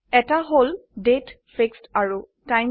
এটি হল তাৰিখ আৰু সময়